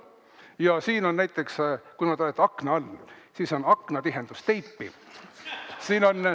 Ja siin on näiteks, kuna te olete akna all, aknatihendusteip.